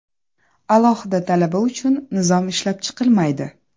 Alohida talaba uchun nizom ishlab chiqilmaydi.